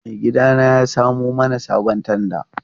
Maigidana ya samo mana sabon tanda.